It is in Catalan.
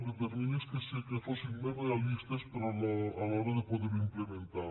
de terminis que fossin més realistes a l’hora de poder ho implementar